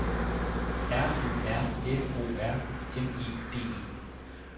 R Ø R F O R M E D E